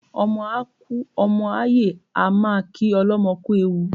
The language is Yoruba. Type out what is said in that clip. Ọmọ a kú, ọmọ a yè a máa kí ọlọ́mọ kú ewu